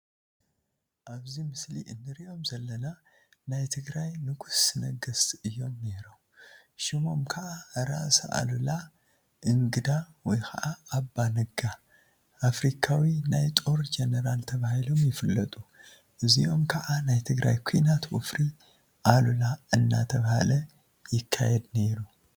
አብዚ ምስሊ እንሪኦም ዘለና ናይ ትግራይ ንጉሰ ነገስት እዮም ነይሮም፡፡ ሽሞም ከዓ ራስ አሉላ እንግዳ/ኣባ ነጋ/ አፍሪካዊ ናይ ጦር ጀነራል ተባሂሎም ይፍለጡ፡፡ እዚኦም ከዓ ናይ ትግራይ ኩናት ወፍሪ አሉላ እናተብሃለ ይካየድ ነይሩ፡፡